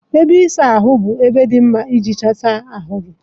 Ebe ịsa ahụ bụ ebe dị mma iji sachaa ahụ gị.